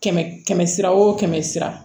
Kɛmɛ kɛmɛ sira o kɛmɛ sira